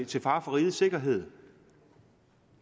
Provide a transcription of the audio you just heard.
til fare for rigets sikkerhed